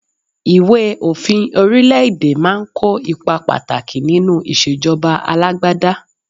Ìwé òfin orílẹ̀-èdè máa ń kó ipa pàtàkì nínú ìṣèjọba alágbádá.